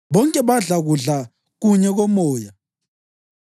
Bonke badla kudla kunye komoya